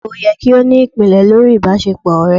ìgbéyàwó yẹ ki o ni ipinlẹ̀ lorí ìbáṣepọ ọrẹ